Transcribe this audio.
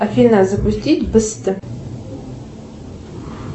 афина запустить быстро